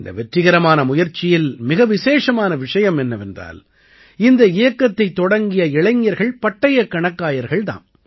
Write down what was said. இந்த வெற்றிகரமான முயற்சியில் மிக விசேஷமான விஷயம் என்னவென்றால் இந்த இயக்கத்தைத் தொடங்கிய இளைஞர்கள் பட்டயக் கணக்காயர்கள் தாம்